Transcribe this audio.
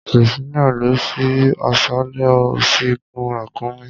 Priscilla lọ sí aṣálẹ̀, ò sì gun ràkúnmí.